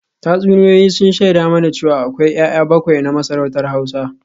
Tatsuniyoyi sun shaida mana cewa akwai ‘ya’ya bakwai na masarautar Hausa